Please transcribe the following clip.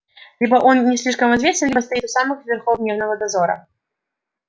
либо он не слишком известен либо стоит у самых верхов дневного дозора